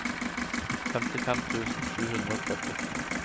femtifem tusen sju hundre og førti